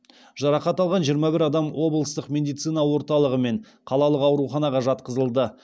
жарақат алған жиырма бір адам облыстық медицина орталығы мен қалалық ауруханаға жатқызылды